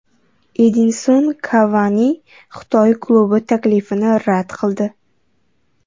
Edinson Kavani Xitoy klubi taklifini rad qildi.